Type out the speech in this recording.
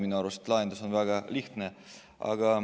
Minu arvates on lahendus väga lihtne.